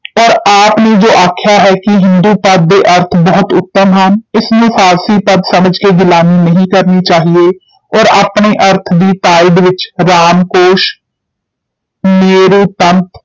ਔਰ ਆਪ ਨੇ ਜੋ ਆਖਿਆ ਹੈ ਕਿ ਹਿੰਦੂ ਪਦ ਦੇ ਅਰਥ ਬਹੁਤ ਉੱਤਮ ਹਨ, ਇਸ ਨੂੰ ਫਾਰਸੀ ਪਦ ਸਮਝ ਕੇ ਗਿਲਾਨੀ ਨਹੀਂ ਕਰਨੀ ਚਾਹੀਏ ਔਰ ਆਪਣੇ ਅਰਥ ਦੀ ਤਾਈਦ ਵਿਚ ਰਾਮਕੋਸ਼